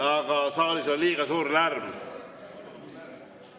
Aga saalis on liiga suur lärm.